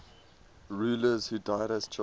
rulers who died as children